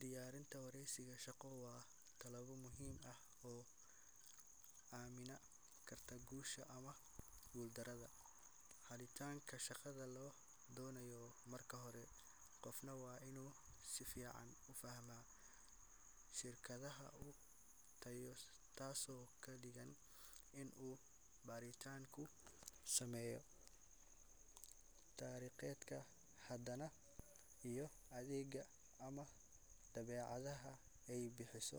Diyaarinta wareysiga shaqo waa tilaabo muhiim ah oo amiina karta gusha ama gul darada, xalitanka shaqada loo donayo marka hore qofna waa inu si fican ufahmaa shirkadaha ugu tayeesan taaso kadhigto in uu baritanku sameeyo tariqeedka hadana iyo adeegga ama daweecadaha ay bixiso,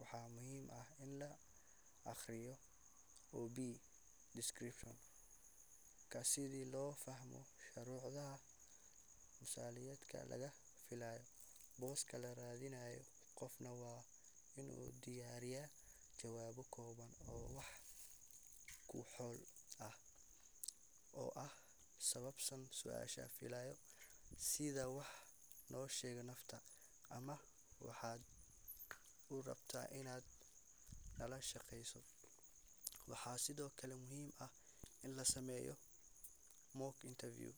waxaa muhiim ah in la aqriyo ob Description sida loo fahmo sharuudaha misaaniyadka laga filayo, boska la raadinayo qofna waa inu diyariya jawabo kooban oo wax ku ol ah oo ah sababtan suashan filaayo sida wax loo sheego nafta ama waxaad urabto inad nala shaqeeyso ,waxaa sidokale muhiim ah in la sameeyo mock interview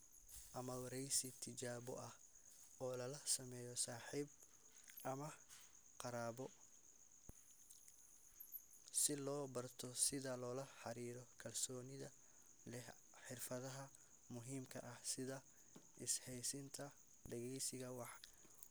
ama wareysi tijaabo ah oo lala sameeyo saxiib ama qarabo si loo barto sida lola xariiro kalsoonida leh xirfadaha muhiimka ah sida isxayeysinta deeggeysiga waxa wanaagsan